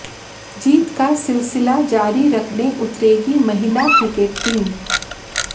जीत का सिलसिला जारी रखेने उतरेगी महिला क्रिकेट टीम